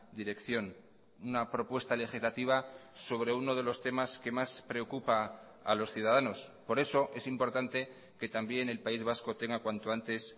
dirección una propuesta legislativa sobre uno de los temas que más preocupa a los ciudadanos por eso es importante que también el país vasco tenga cuanto antes